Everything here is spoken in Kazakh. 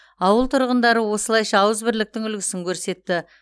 ауыл тұрғындары осылайша ауызбірліктің үлгісін көрсетті